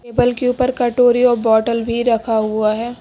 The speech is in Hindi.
बल के ऊपर कटोरी और बोतल भी रखा हुआ है।